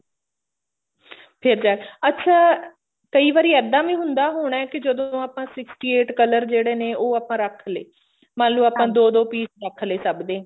ਠੀਕ ਐ ਅੱਛਾ ਕਈ ਵਾਰੀ ਇੱਦਾਂ ਵੀ ਹੁੰਦਾ ਹੋਣਾ ਕਿ ਜਦੋਂ ਆਪਾਂ sixty eight color ਜਿਹੜੇ ਨੇ ਉਹ ਆਪਾਂ ਰੱਖ ਲਏ ਮਤਲਬ ਆਪਾਂ ਦੋ ਦੋ ਪੀਸ ਰੱਖ ਲਏ ਸਭ ਦੇ